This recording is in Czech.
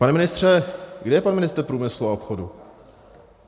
Pane ministře, kde je pan ministr průmyslu a obchodu?